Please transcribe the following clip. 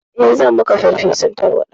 Eh, zanyi maka farfesun tarwaɗa.